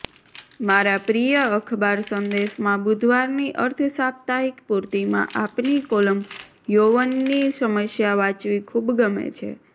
મારા પ્રિય અખબાર સંદેશમાં બુધવારની અર્ધસાપ્તાહિક પૂર્તિમાં આપની કોલમ યૌવનની સમસ્યા વાંચવી ખૂબ ગમે છે